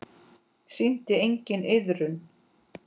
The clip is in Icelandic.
Sýndi enginn iðrun?